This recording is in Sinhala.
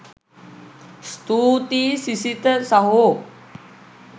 ස්තුතියි සිසිත සහෝ